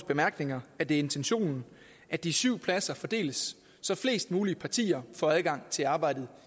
bemærkninger at det er intentionen at de syv pladser fordeles så flest mulige partier får adgang til arbejdet